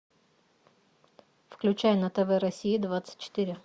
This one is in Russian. включай на тв россия двадцать четыре